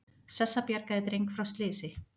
Sessa bjargaði dreng frá slysi